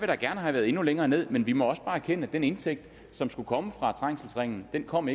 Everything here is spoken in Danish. da gerne have været endnu længere ned men vi må også bare erkende at den indtægt som skulle komme fra trængselsringen ikke kom